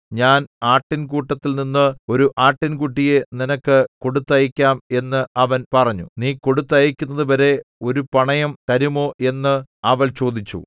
ഞാൻ ആട്ടിൻകൂട്ടത്തിൽനിന്ന് ഒരു ആട്ടിൻകുട്ടിയെ നിനക്ക് കൊടുത്തയക്കാം എന്ന് അവൻ പറഞ്ഞു നീ കൊടുത്തയക്കുന്നതുവരെ ഒരു പണയം തരുമോ എന്ന് അവൾ ചോദിച്ചു